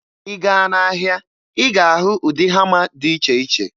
Ị gaa n'ahịa, ị ga-ahụ ụdị hama dị iche iche.